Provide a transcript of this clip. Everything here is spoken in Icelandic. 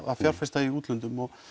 að fjárfesta í útlöndum og